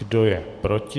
Kdo je proti?